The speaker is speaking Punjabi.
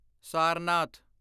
ਸਾਰਨਾਥ